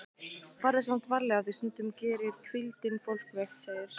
Farðu samt varlega því stundum gerir hvíldin fólk veikt, segir